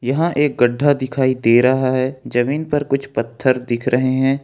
यहां एक गड्ढा दिखाई दे रहा है जमीन पर कुछ पत्थर दिख रहे हैं।